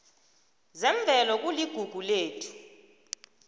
zemvelo kuligugu lethu